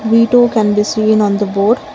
V two can be seen on the board.